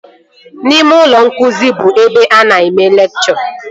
Ime ụlọ nkụzi bụ ebe a na-eme lekchọ